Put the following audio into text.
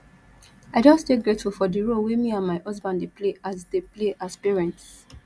i just dey grateful for di role wey me and my husband dey play as dey play as parents